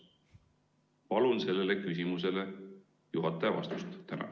Palun sellele küsimusele juhataja vastust!